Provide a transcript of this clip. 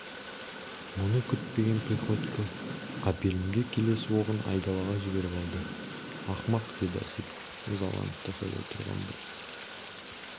мұны күтпеген приходько қапелімде келесі оғын айдалаға жіберіп алды ақымақ деді осипов ызаланып тасада тұрған бір